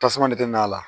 Tasuma de bɛ n'a la